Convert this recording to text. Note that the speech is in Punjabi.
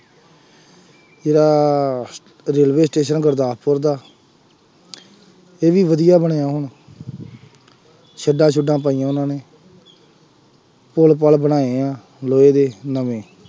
ਜਿਹੜਾ ਰੇਲਵੇ ਸਟੇਸ਼ਨ ਹੈ ਗੁਰਦਾਸਪੁਰ ਦਾ ਇਹ ਵੀ ਵਧੀਆ ਬਣਿਆ ਹੁਣ ਸ਼ੈੱਡਾਂ ਸ਼ੂੱਡਾਂ ਪਾਈਆਂ ਉਹਨਾ ਨੇ ਪੁੱਲ ਪੱਲ ਬਣਾਏ ਆ, ਲੋਹੇ ਦੇ, ਨਵੇਂ